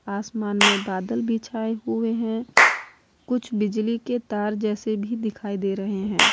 आसमान में बदल भी छाए हुए हैं कुछ बिजली के तार जैसे भी दिखाई दे रहे हैं।